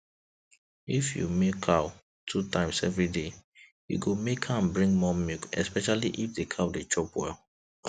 if you milk cow two times every day e go make am bring more milk especially if the cow dey chop well